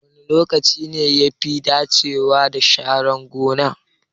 Wane lokaci ne yafi dacewa da sharar gona?